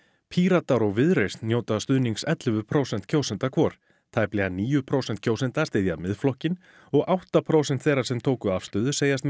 Píratar og Viðreisn njóta stuðnings ellefu prósent kjósenda hvor tæplega níu prósent kjósenda styðja Miðflokkinn og átta prósent þeirra sem tóku afstöðu segjast